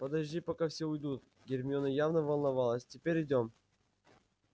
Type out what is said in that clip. подожди пока все уйдут гермиона явно волновалась теперь идём